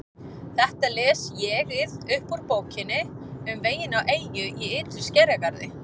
Þetta les ÉG-ið upp úr Bókinni um veginn á eyju í ytri skerjagarði